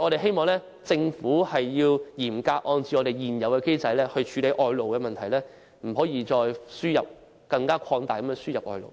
我們希望政府嚴格按照現有機制處理外勞問題，不可再擴大輸入外勞。